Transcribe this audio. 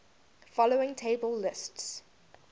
following table lists